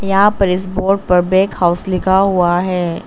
यहां पर इस बोर्ड पर बैग हाउस लिखा हुआ है।